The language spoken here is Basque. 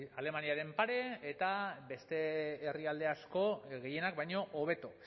alemaniaren pare eta beste herrialde asko gehienak baino hobeto